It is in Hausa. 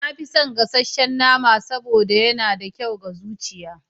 Na fi son gasasshen nama saboda yana da kyau ga zuciyata.